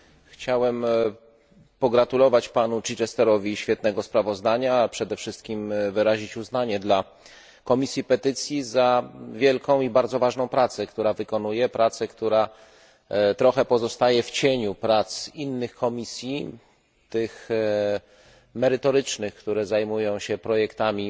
Chciałem pogratulować panu Chichesterowi świetnego sprawozdania, a przede wszystkim wyrazić uznanie dla Komisji Petycji za wielką i bardzo ważną pracę, którą wykonuje pracę, która trochę pozostaje w cieniu prac innych komisji, tych merytorycznych, które zajmują się projektami